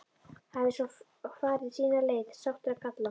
Hafi svo hvor farið sína leið, sáttur að kalla.